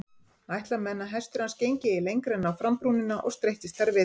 Ætla menn að hestur hans gengi ei lengra en á frambrúnina og streittist þar við.